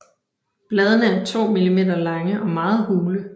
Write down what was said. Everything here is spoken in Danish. Bladene er 2 mm lange og meget hule